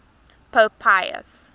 pope pius